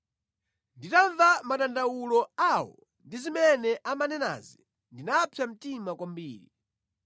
Nditamva madandawulo awo ndi zimene amanenazi ndinapsa mtima kwambiri.